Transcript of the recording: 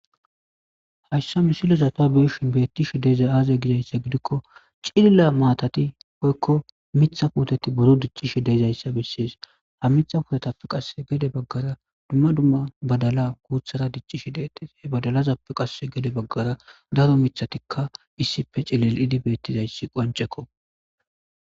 Hassa misilezapa beshin beettishi deeza aaze gizayssa gidikko cilila maatati poykko mitha puoteti boro diccishi deezayssa bessees ha mitha putetappe qasse gede baggara dumma dumma badala guuthara diccishi deetes he badalazappe qasse gede baggara daro mithatikka issife cilel'idi beettizayssi qoncekko.